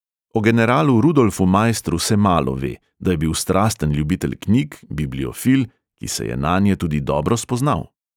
O generalu rudolfu maistru se malo ve, da je bil strasten ljubitelj knjig, bibliofil, ki se je nanje tudi dobro spoznal.